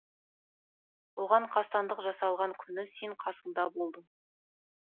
оған қастандық жасалған күні сен қасында болдың